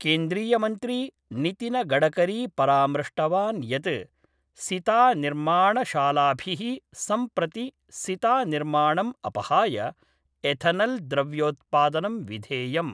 केन्द्रीयमन्त्री नितिनगडकरी परामृष्टवान् यत् सिता निर्माण शालाभिः सम्प्रति सितानिर्माणम् अपहाय एथनल् द्रव्योत्पादनं विधेयम्।